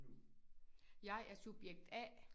Jeg er subjekt A